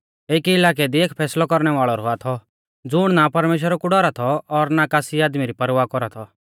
एकी इलाकै दी एक फैसलौ कौरणै वाल़ौ रौआ थौ ज़ुण ना परमेश्‍वरा कु डौरा थौ और ना कासी आदमी री परवाह कौरा थौ